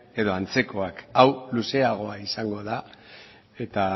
edo antzekoak hau luzeagoa izango da eta